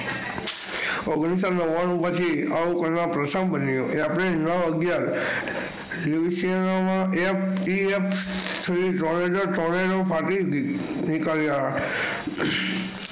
ઓગણીસોનાવવાનું પછી આવું પ્રથમ વાર બન્યું એપ્રિલ નવ અગ્યાર નીકળ્યા.